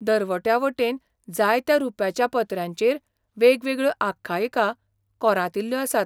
दरवट्या वटेन जायत्या रुप्याच्या पत्र्यांचेर वेगवेगळ्यो आख्यायिका कोरांतिल्ल्यो आसात.